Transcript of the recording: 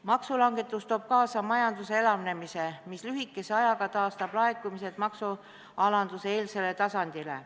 Maksulangetus toob kaasa majanduse elavnemise, mis lühikese ajaga taastab laekumised maksualanduse eel olnud tasandile.